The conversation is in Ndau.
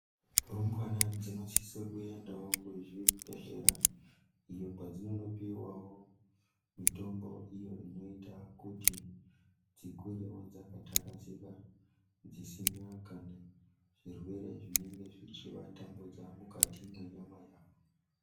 Rumbwana dzinosisa kuendawo kuzvibhedhlera uko kwadzinonopuwawo mutombo wekuti dzikurewo dzakathakazika dzisina kana zvirwere zvinenge zvichivatambudza mukati mwenyama yavo.